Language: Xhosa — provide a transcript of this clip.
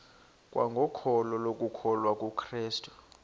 kwangokholo lokukholwa kukrestu